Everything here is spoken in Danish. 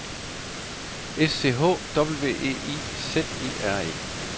S C H W E I Z E R E